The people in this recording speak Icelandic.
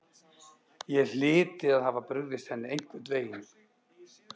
Ég hlyti að hafa brugðist henni einhvern veginn.